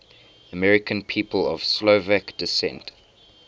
american people of slovak descent